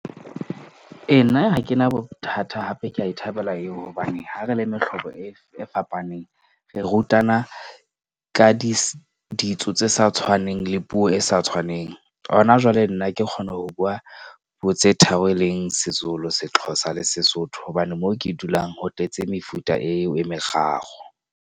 Ee, nna ha ke na bothata hape ke ya e thabela eo. Hobane ha re le mehlobo e fapaneng, re rutana ka ditso tse sa tshwaneng le puo e sa tshwaneng. Hona jwale nna ke kgona ho bua puo tse tharo, e leng seZulu, seXhosa le Sesotho. Hobane moo ke dulang ho tletse mefuta eo e meraro.